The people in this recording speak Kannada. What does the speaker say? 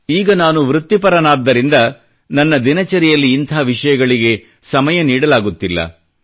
ಈಗ ನಾನು ವೃತ್ತಿಪರನಾದ್ದರಿಂದ ನನ್ನ ದಿನಚರಿಯಲ್ಲಿ ಇಂಥ ವಿಷಯಗಳಿಗೆ ಸಮಯ ನೀಡಲಾಗುತ್ತಿಲ್ಲ